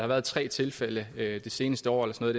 været tre tilfælde det seneste år eller noget